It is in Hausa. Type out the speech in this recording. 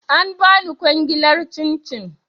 An bani kwangilar cin cin